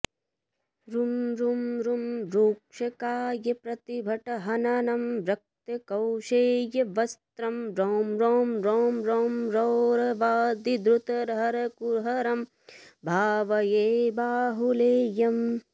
रुं रुं रुं रूक्षकायप्रतिभटहननं रक्तकौशेयवस्त्रं रौं रौं रौं रौं रौरवादिद्रुतहरकुहरं भावये बाहुलेयम्